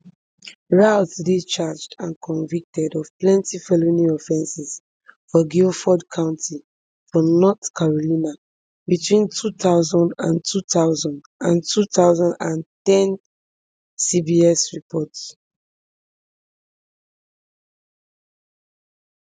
routh dey charged and convicted of plenty felony offences for guilford county for north carolina between two thousand and two and two thousand and ten cbs report